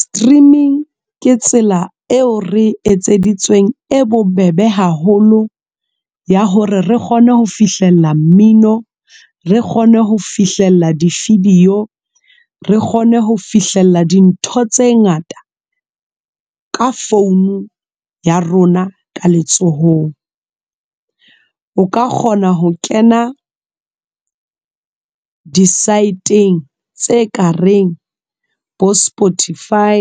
Streaming ke tsela eo re etseditsweng e bobebe haholo ya hore re kgone ho fihlella mmino re kgone ho fihlella di-video re kgone ho fihlella dintho tse ngata ka founu ya rona ka letsohong. O ka kgona ho kena di-site-ng tse ka reng bo Spotify